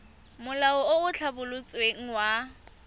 molao o o tlhabolotsweng wa